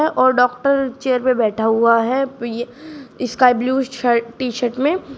और doctor chair पे बैठा हुआ है पेय sky blue shirt T shirt में।